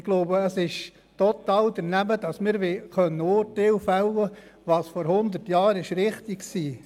Ich glaube, es wäre total daneben, wenn wir Urteile darüber fällten, was vor hundert Jahren richtig war.